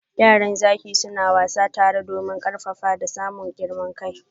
Yaran zaki suna wassani tare domin karfafa da samun girman kai.